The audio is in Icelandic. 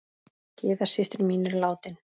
Gyða systir mín er látin.